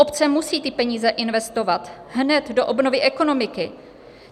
Obce musí ty peníze investovat hned do obnovy ekonomiky.